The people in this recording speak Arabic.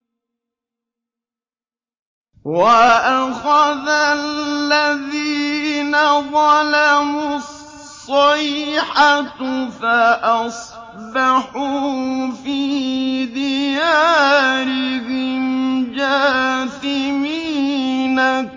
وَأَخَذَ الَّذِينَ ظَلَمُوا الصَّيْحَةُ فَأَصْبَحُوا فِي دِيَارِهِمْ جَاثِمِينَ